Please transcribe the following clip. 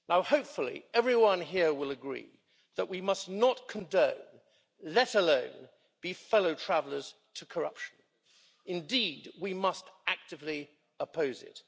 Hopefully, everyone here will agree that we must not condone let alone be fellow travellers to corruption. Indeed, we must actively oppose it.